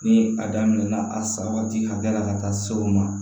Ni a daminɛ na a sa waati hakɛya la ka taa se o ma